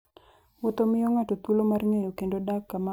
Wuoth miyo ng'ato thuolo mar ng'eyo kendo dak kama ok ong'eyo.